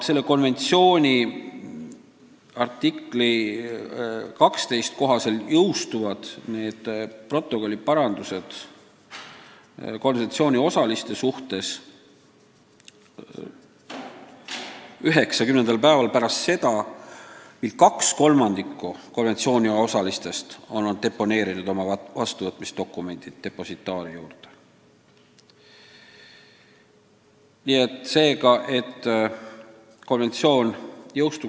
Selle konventsiooni artikli 12 kohaselt jõustuvad need protokolliparandused konventsiooniosaliste suhtes 90. päeval pärast seda, kui 2/3 konventsiooniosalistest on oma vastuvõtmisdokumendid depositaaris deponeerinud.